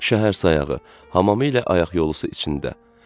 Şəhər sayağı, hamamı ilə ayaq yolusu içində.